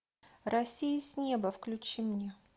россия с неба включи мне